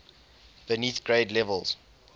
beneath grade levels